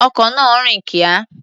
Ọkọ̀ náà rìn kíá.